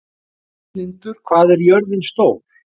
Heiðlindur, hvað er jörðin stór?